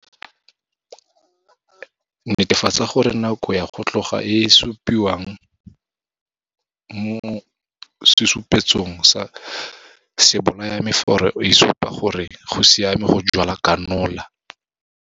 Netefatsa gore nako ya go tloga e e supiwang mo sesupetsong sa sebolayamefero e supa gore go siame go jwala kanola.